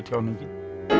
tjáningin tilfinningatjáningin